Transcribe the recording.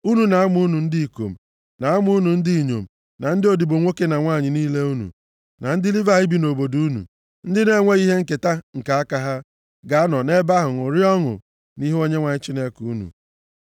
Unu na ụmụ unu ndị ikom, na ụmụ unu ndị inyom, na ndị odibo nwoke na nwanyị niile unu, na ndị Livayị bi nʼobodo unu, ndị na-enweghị ihe nketa nke aka ha, ga-anọ nʼebe ahụ ṅụrịa ọṅụ nʼihu Onyenwe anyị Chineke unu.